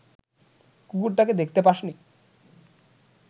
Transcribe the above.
কুকুরটাকে দেখতে পাসনি